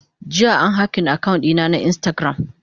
Jiya an yi hacking account dina na instagram.